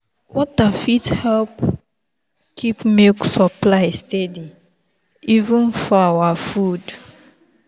water fit help keep milk supply steady even for our food.